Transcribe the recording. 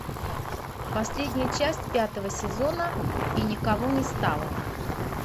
последняя часть пятого сезона и никого не стало